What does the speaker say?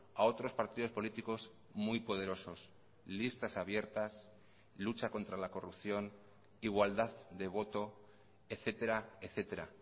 a otros partidos políticos muy poderosos listas abiertas lucha contra la corrupción igualdad de voto etcétera etcétera